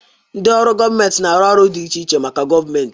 Ndị ọrụ gọọmentị na-arụ ọrụ dị iche iche maka gọọmentị.